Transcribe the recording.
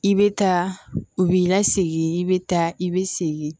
I bɛ taa u b'i lasegin i bɛ taa i bɛ segin